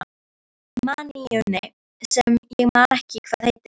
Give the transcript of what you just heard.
maníunni sem ég man ekki hvað heitir.